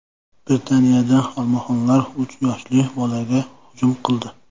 Britaniyada olmaxonlar uch yoshli bolaga hujum qildi.